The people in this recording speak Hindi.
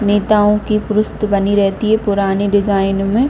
नेताओं की पुरुस्त बनी रहती है पुरानी डिज़ाइन में।